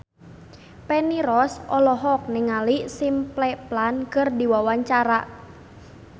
Feni Rose olohok ningali Simple Plan keur diwawancara